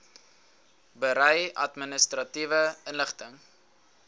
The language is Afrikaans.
berei administratiewe inligting